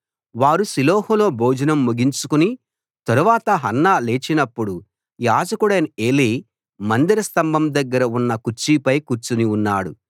వారు షిలోహులో భోజనం ముగించిన తరువాత హన్నా లేచినపుడు యాజకుడైన ఏలీ మందిర స్తంభం దగ్గర ఉన్న కుర్చీపై కూర్చుని ఉన్నాడు